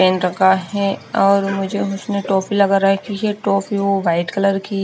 pen रखा है और मुझे उसने टोपी लगा रखी है टोपी वो वाइट कलर की--